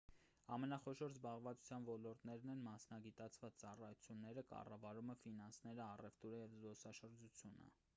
ամենախոշոր զբաղվածության ոլորտներն են մասնագիտաված ծառայությունները կառավարումը ֆինանսները առևտուրը և զբոսաշրջությունը